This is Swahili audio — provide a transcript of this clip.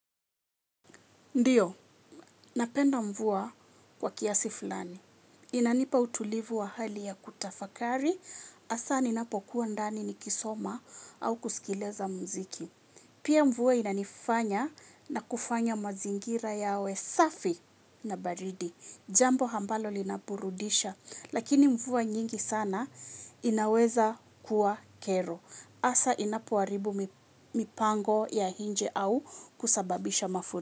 Ndiyo, napenda mvua kwa kiasi fulani. Inanipa utulivu wa hali ya kutafakari, hasa ninapokuwa ndani nikisoma au kusikiliza muziki. Pia mvua inanifanya na kufanya mazingira yawe safi na baridi. Jambo ambalo linaburudisha, lakini mvua nyingi sana inaweza kuwa kero. Hasa inapoharibu mipango ya nje au kusababisha mafuriko.